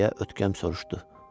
Deyə ötkəm soruşdu.